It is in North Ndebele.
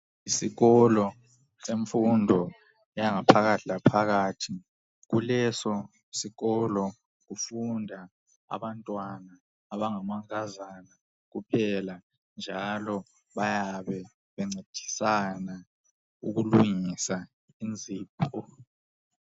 Isikolo semfundo yanga phakathi laphakathi kuleso sikolo kufunda abantwana abangamankazana kuphela njalo bayabe bencedisana ukulungisa inzipho.